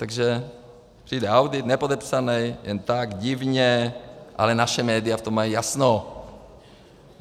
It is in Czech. Takže přijde audit, nepodepsaný, jen tak divně, ale naše média v tom mají jasno.